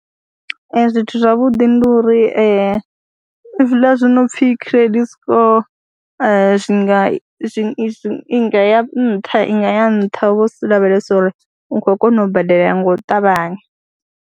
Ee, zwithu zwavhuḓi ndi uri hezwiḽa zwi no pfhi credit score zwi nga zwi nga ya nṱha ya nṱha hu vha hu si lavhelesa uri u khou kona u badela nga u ṱavhanya.